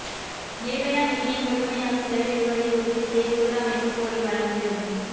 நிர்பயா நிதியை முழுமையாக செலவிடுவதை உறுதிசெய்ய குழு அமைக்க கோரி வழக்கு